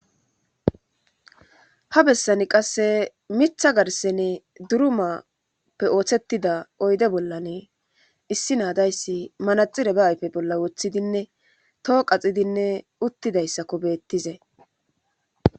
ha bessani qasse mitha garsene durumappe ooththettida oyde bollanee issi naadayssi manaxire ba ayfe bolla woththidinne too qaxidinne uttidayssakko beettizay